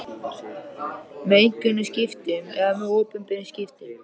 með einkaskiptum eða með opinberum skiptum.